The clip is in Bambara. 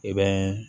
I bɛ